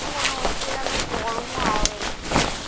মনে হচ্ছে যেন গরম হাওয়া বেরোচ্ছে।